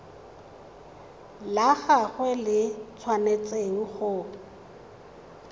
la gagwe le tshwanetse go